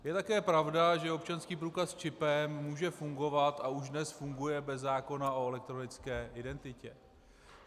Je také pravda, že občanský průkaz s čipem může fungovat a už dnes funguje bez zákona o elektronické identitě.